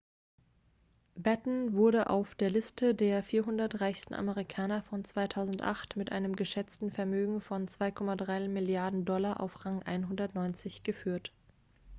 batten wurde auf der liste der 400 reichsten amerikaner von 2008 mit einem geschätzten vermögen von 2,3 milliarden dollar auf rang 190 geführt